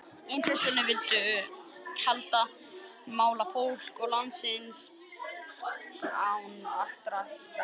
Impressjónistarnir vildu heldur mála fólk og landslag án ýktra goðsagna.